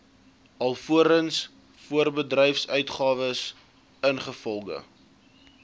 alvorens voorbedryfsuitgawes ingevolge